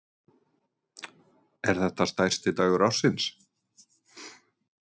Þórhildur: Er þetta stærsti dagur ársins?